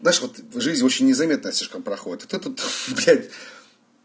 знаешь вот жизнь очень незаметно слишком проходит вот это вот блядь